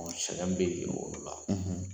Sɛgɛn be o la